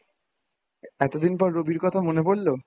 এতদিন পর রবির কথা মনে পড়লো?